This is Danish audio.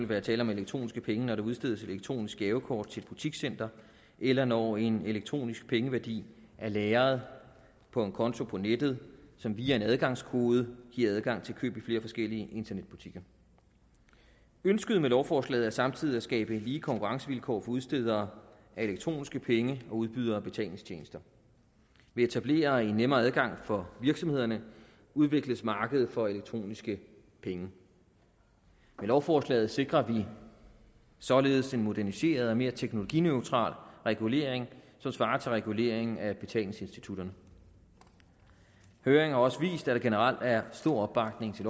være tale om elektroniske penge når der udstedes elektroniske gavekort til et butikscenter eller når en elektronisk pengeværdi er lagret på en konto på nettet som via en adgangskode giver adgang til køb i flere forskellige internetbutikker ønsket med lovforslaget er samtidig at skabe lige konkurrencevilkår for udstedere af elektroniske penge og udbydere af betalingstjenester ved at etablere en nemmere adgang for virksomhederne udvikles markedet for elektroniske penge med lovforslaget sikrer vi således en moderniseret og mere teknologineutral regulering som svarer til reguleringen af betalingsinstitutterne høringen har også vist at der generelt er stor opbakning til